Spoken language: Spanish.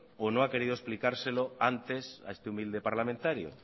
o no ha querido explicárselo antes a este humilde parlamentario